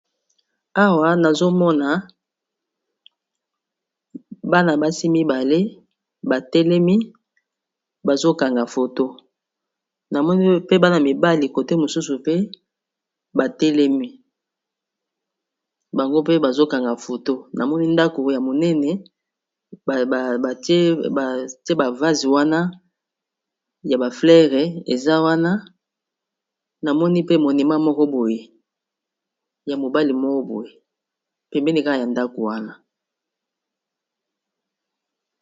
Awa nazomona bana basi mibale batelemi bazokanga foto namoni pe bana mibali kote mosusu pe batelemi bango mpe bazokanga foto, namoni ndako ya monene btie bavase wana ya bafleres eza wana namoni pe monima moko boy ya mobali moko boye pembeni kala ya ndako wana.